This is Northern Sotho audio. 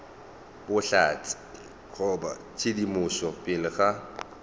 bohlatse goba tshedimošo pele ga